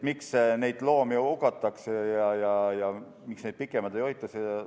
Miks neid loomi hukatakse ja miks neid pikemalt ei hoita?